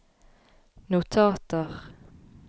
notater